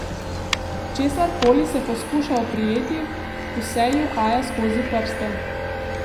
Česar koli se poskuša oprijeti, vse ji uhaja skozi prste.